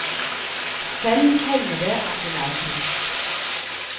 Selv hender det at hun er trist.